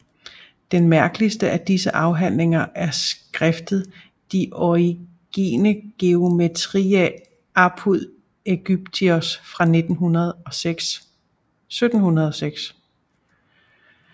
Den mærkeligste af disse afhandlinger er skriftet De origine geometriæ apud Egyptios fra 1706